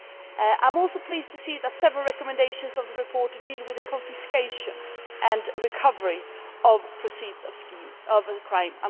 I am also pleased to see that several recommendations of the report deal with the confiscation and recovery of the proceeds of crime.